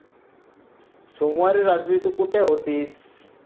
सोमवारी रात्री तू कुठे होतीस?